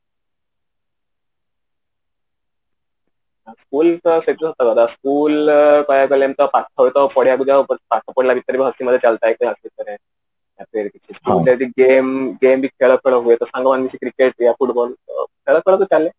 ସେଇ ତ ସେଇ ଯୋଉ school ରେ ପାଇବାକୁ ପାରିଲେଣି ତ ପାଠ ପଢିଲା ଭିତରେ ତ ଅସୁବିଧା ଚାଲିଥାଏ କ୍ଲାସ ଭିତରେ game ବି ଖେଳ ଖେଳ ହୁଏ ତ ସାଙ୍ଗମାନେ ମିସିକି cricket club football ଖେଳ ଖେଳ ତ ଚାଲେ